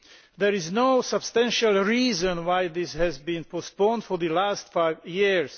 There is no substantial reason why this has been postponed for the last five years.